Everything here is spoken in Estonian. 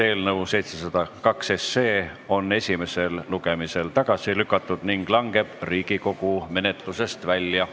Eelnõu 702 on esimesel lugemisel tagasi lükatud ning langeb Riigikogu menetlusest välja.